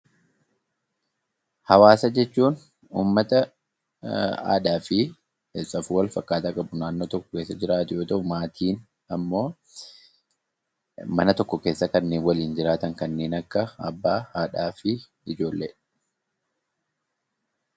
Hawaasa jechuun uummata aadaa fi safuu wal fakkaataa qabu naannoo tokko keessa jiraatu yoo tahu; Maatiin ammoo mana tokko keessa kanneen waliin jiraatan kanneen akka Abbaa, Haadhaa fi Ijoollee dha.